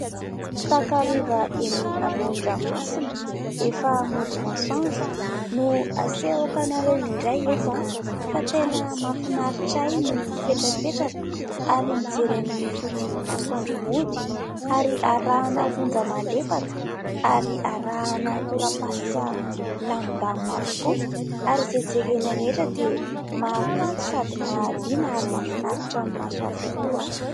Takariva eny amoron-dranomasina efa mody masoandro no asehoko anareo indray eto an, fa tena mahafinaritra ahy ny mipetrapetraka ary mijery ny fodian'ny masoandro mody, ary arahina onja malefaka, ary arahina tora-pasika milamindamina avokoa. Ary izay jerena rehetra dia mahakanto sady mahaliana ary mafinaritra ny maso avokoa.